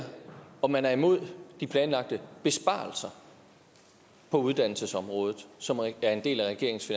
om man er imod de planlagte besparelser på uddannelsesområdet som er en del af regeringens